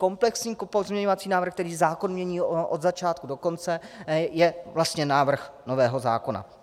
Komplexní pozměňovací návrh, který zákon mění od začátku do konce, je vlastně návrh nového zákona.